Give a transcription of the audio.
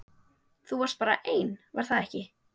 Þú varst bara einn, var það ekki?